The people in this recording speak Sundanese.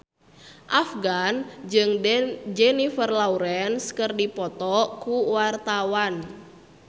Afgan jeung Jennifer Lawrence keur dipoto ku wartawan